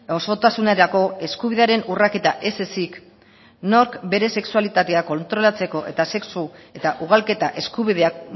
osotasunerako eskubidearen urraketa ez ezik nork bere sexualitatea kontrolatzeko eta sexu eta ugalketa eskubideak